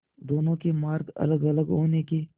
दोनों के मार्ग अलगअलग होने के